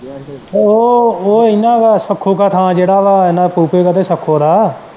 ਉਹ ਉਹ ਇਹਨਾਂ ਦਾ ਦਾ ਥਾਂ ਜਿਹੜਾ ਆ ਇਹਨਾਂ ਫੁਫੇ ਦਾ ਤੇ ਸੱਖੋ ਦਾ।